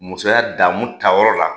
Musoya damu ta yɔrɔ la